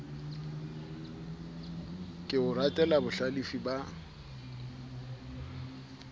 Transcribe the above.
ke o ratela bohlalefi ba